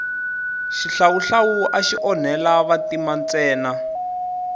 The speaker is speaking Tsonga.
xihlawuhlawu axi onhela vantima ntsena